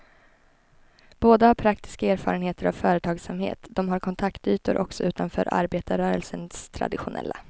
Båda har praktiska erfarenheter av företagsamhet, de har kontaktytor också utanför arbetarrörelsens traditionella.